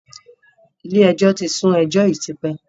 Ilé ẹjọ́ ti ń sù ẹjọ́ yìí tipẹ́.